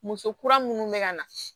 Muso kura minnu bɛ ka na